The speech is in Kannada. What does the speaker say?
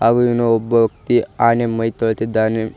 ಹಾಗು ಇವ್ನ ಒಬ್ಬ ವ್ಯಕ್ತಿ ಆನೆ ಮೈ ತೊಳಿತಿದ್ದಾನೆ.